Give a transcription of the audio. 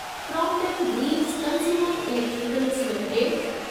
Crompton Greaves consumer electricals limited